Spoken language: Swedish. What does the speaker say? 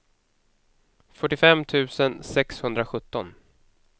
fyrtiofem tusen sexhundrasjutton